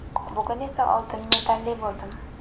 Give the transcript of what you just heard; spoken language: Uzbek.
Bugun esa oltin medalli bo‘ldim.